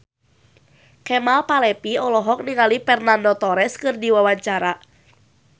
Kemal Palevi olohok ningali Fernando Torres keur diwawancara